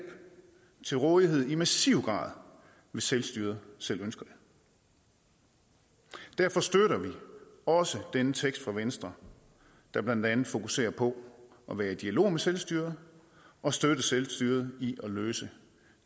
til rådighed i massiv grad hvis selvstyret selv ønsker det derfor støtter vi også denne tekst fra venstre der blandt andet fokuserer på at være i dialog med selvstyret og støtte selvstyret i at løse